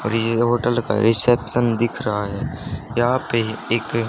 और ये होटल का रिसेप्शन दिख रहा है यहां पे एक--